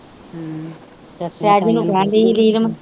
ਸਹਿਜ ਨੂੰ ਕਹਿਣ ਦੀ ਹੀ ਨੀਲਮ।